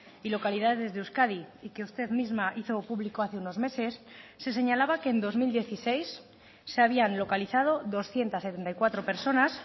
y localidades de euskadi y que usted misma hizo público hace unos meses se señalaba que en dos mil dieciséis se habían localizado doscientos setenta y cuatro personas